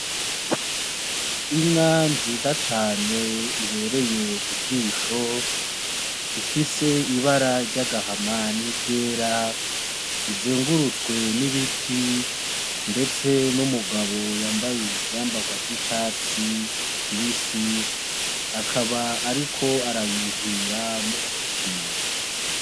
Inka nziza cane ibereye ijisho ifise ibara ry'agahama ni ryera, izugurutswe n'ibiti ndetse n'umugabo ivyambarwa vy'icatsi kibisi akaba ariko arayuhirira n'umuti.